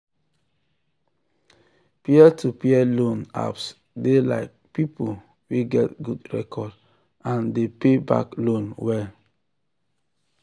peer-to-peer loan apps dey like people wey get good record and dey pay back loan well.